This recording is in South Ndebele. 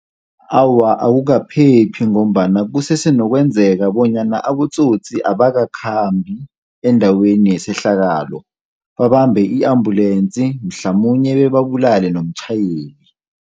Awa, akukaphephi ngombana kusese nokwenzeka bonyana abotsotsi abakakhambi endaweni yesehlakalo, babambe i-ambulensi mhlamunye bebabulale nomtjhayeli.